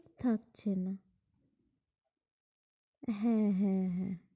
থাকছে না, হ্যাঁ, হ্যাঁ, হ্যাঁ,